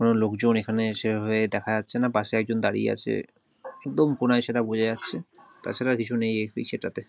কোন লোকজন এখানে এসে এভাবে দেখা যাচ্ছে না পাশে একজন দাঁড়িয়ে আছে একদম কনাই সেটা বোঝা যাচ্ছে। তা ছাড়া কিছু নেয় এই বিষয়টাতে।